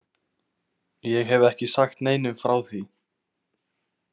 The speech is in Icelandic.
Ég hef ekki sagt neinum frá því.